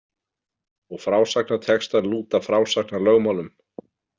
Og frásagnartextar lúta frásagnarlögmálum.